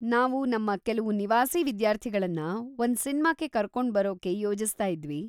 ನಾವು ನಮ್ಮ ಕೆಲವು ನಿವಾಸಿ ವಿದ್ಯಾರ್ಥಿಗಳನ್ನ ಒಂದ್ ಸಿನ್ಮಾಕ್ಕೆ ಕರ್ಕೊಂಡ್ಬರೋಕೆ ಯೋಜಿಸ್ತಾ ಇದ್ವಿ.